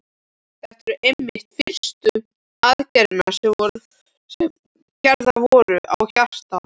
Þetta voru einmitt fyrstu aðgerðirnar sem gerðar voru á hjarta.